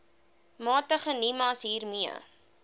magtig nimas hiermee